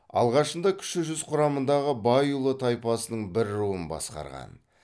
алғашында кіші жүз құрамындағы байұлы тайпасының бір руын басқарған